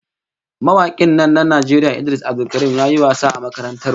Mawakin nan na Najeriya Idris Abdulkarim ya yi wasa a makarantar mu